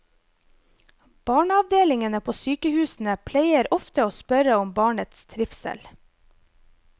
Barneavdelingene på sykehusene pleier ofte å spørre om barnets trivsel.